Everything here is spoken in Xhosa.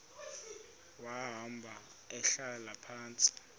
wahamba ehlala phantsi